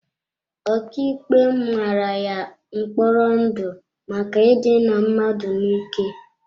Ọkàikpe mara ya mkpọrọ ndụ maka idina mmadụ n'ike.